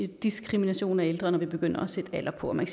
diskrimination af ældre når vi begynder at sætte alder på man